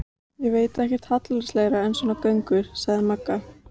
Ég veit ekkert hallærislegra en svona göngur, sagði Magga.